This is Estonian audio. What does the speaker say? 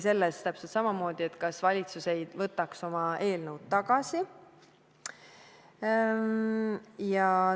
Täpselt samamoodi oli küsimus, kas valitsus ei võtaks oma eelnõu tagasi.